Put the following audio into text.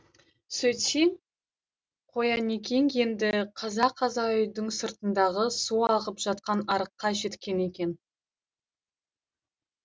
сөйтсе қоянекең енді қаза қаза үйдің сыртындағы су ағып жатқан арыққа жеткен екен